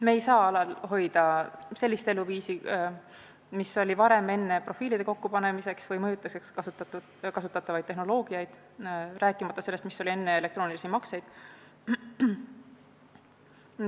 Me ei saa alal hoida sellist eluviisi, mis oli varem, enne profiilide kokkupanemiseks või mõjutuseks kasutatavaid tehnoloogiaid, rääkimata sellest eluviisist, mis oli enne elektroonilisi makseid.